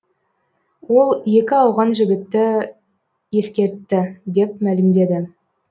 ол екі ауған жігіті ескертті деп мәлімдеді